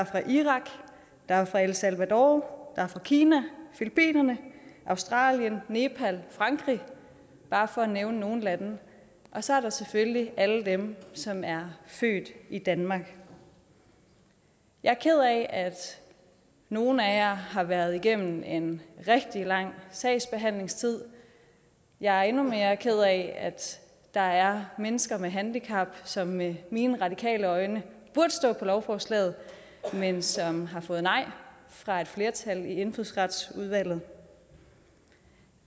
fra irak der er fra el salvador der er fra kina filippinerne australien nepal frankrig bare for at nævne nogle lande og så er der selvfølgelig alle dem som er født i danmark jeg er ked af at nogle af jer har været igennem en rigtig lang sagsbehandlingstid jeg er endnu mere ked af at der er mennesker med handicap som med mine radikale øjne burde stå på lovforslaget men som har fået nej fra et flertal i indfødsretsudvalget